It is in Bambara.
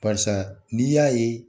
Barisa n'i y'a ye